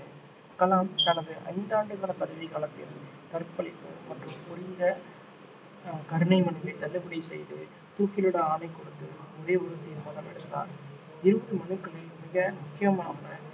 கலாம் தனது ஐந்தாண்டு கால பதவி காலத்தில் கற்பழிப்பு குற்றம் புரிந்த ஆஹ் கருணை மனுவை தள்ளுபடி செய்து தூக்கிலிட ஆணை கொடுத்து ஒரே ஒரு தீர்மானம் எடுத்தார் இருபது மனுக்களில் மிக முக்கியமான